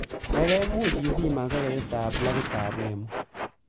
Gaigai muuch isiman soketitab plakitab wamo